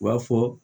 U b'a fɔ